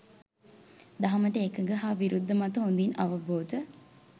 දහමට එකඟ හා විරුද්ධ මත හොඳින් අවබෝධ